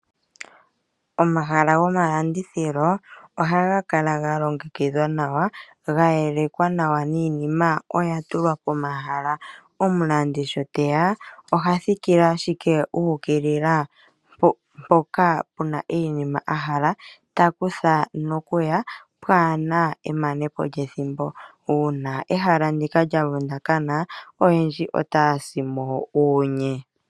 Omahala gomalandithilo ohaga kala galongekidhwa nawa gayelekwa nawa niinima ohayi kala yatulwa pomahala, opo ngele omulandi teya ohathikile ashike uukilila mpoka puna iinima ndjoka ahala takutha nokuya pwaana emanepo lyethimbo, uuna ehala ndika lya vundakana aantu oyendji otaasimo uunye.